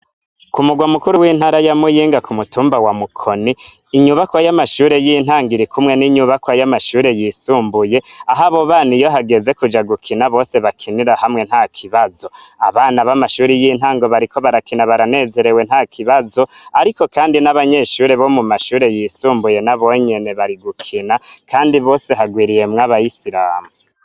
Ku murwa mukuru w'intara ya Muyinga ku mutumba wa Mukoni, inyubakwa y'amashure y'intango iri kumwe n'inyubakwa y'amashure yisumbuye, aho abo bana iyo hageze kuja gukina, bakinira hamwe ntakibazo. Abana b'amashure y'intango bariko barakina baranezerewe ntakibazo, ariko kandi n'abanyeshure bo mu mashure yisumbuye nabonyene bari gukina, kandi bose harwiriyemwo abayisiramu.